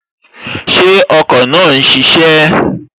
Ṣé ọkọ̀ náà n ṣiṣẹ́?